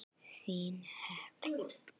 Þín, Hekla.